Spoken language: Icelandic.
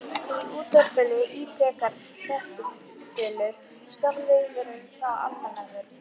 Í útvarpinu ítrekar fréttaþulur stormviðvörun frá Almannavörnum.